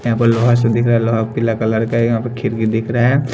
यहां पर लोहा से दिख रहा है लोहा पीला कलर का यहां पर खिरकी दिख रहा है।